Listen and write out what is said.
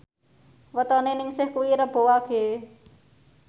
wetone Ningsih kuwi Rebo Wage